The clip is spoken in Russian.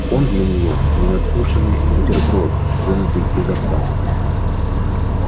он для неё ненадкушенный бутерброд вынутый изо рта